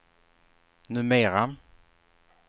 numera